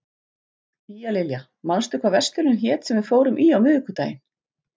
Tíalilja, manstu hvað verslunin hét sem við fórum í á miðvikudaginn?